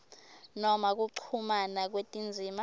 noma kuchumana kwetindzima